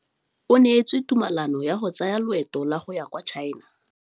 O neetswe tumalanô ya go tsaya loetô la go ya kwa China.